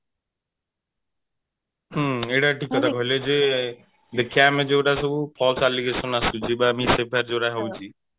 ହଁ ଏଇଟା ଠିକ କଥା କହିଲେ ଯେ ଦେଖିବା ଆମେ ଯୋଉ ଗୁଡା ସବୁ false allegation ଆସୁଛି ବା ଯୋଉ ଗୁଡା ହଉଛି